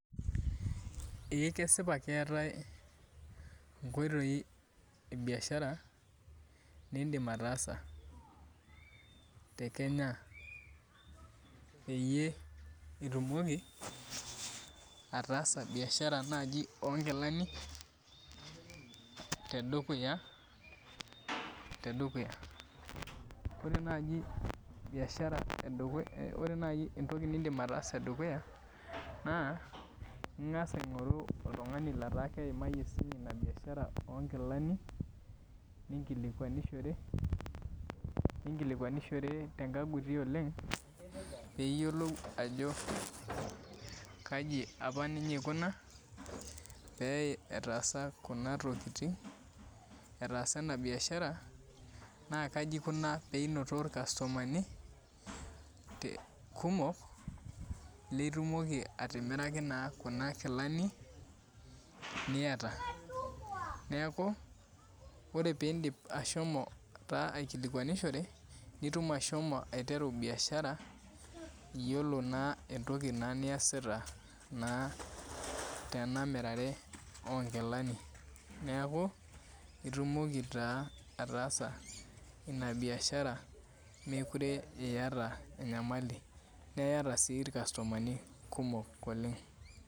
Ee kesipa keetae nkoitoi ebiashara nindim ataasa tekenya peyie itumoki ataasa biashara nai onkilani tedukuya ore naji biashara ore nai Entoki nindim ataasa tedukuya na ingasa aingoru oltungani onkilanininkilikwanishore tenkagutu oleng piyiolou ajo kai apa ninye ikuna petaasa enabiashara na kaji ikuna peinoto irkastomani kumok litumoki atimiraki kuna kilani niataneaku ore pindip ashomo aikilikwanishore nitum ashomo aiteru biashara yiolo na entoki niasita tenamirare onkilani neaku itumoki na ataasa enabiashara mekute iyata enyamali niiata si irkastomani kumok oleng.